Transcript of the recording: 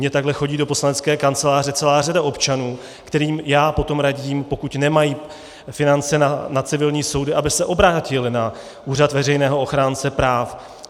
Mně takhle chodí do poslanecké kanceláře celá řada občanů, kterým já potom radím, pokud nemají finance na civilní soudy, aby se obrátili na úřad veřejného ochránce práv.